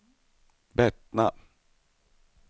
Bettna